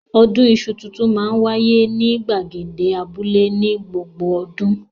Ọdún iṣu tuntun máa ń wáyé ní ìgbàgede abúlé ní gbogbo ọdún.